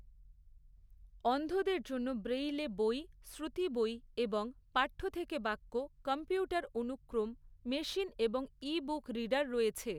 অন্ধদের জন্য ব্রেইলে বই, শ্রুতি বই এবং পাঠ্য থেকে বাক্য কম্পিউটার অনুক্রম, মেশিন এবং ই বুক রিডার রয়েছে।